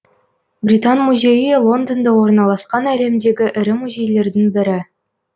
британ музейі лондонда орналасқан әлемдегі ірі музейлердің бірі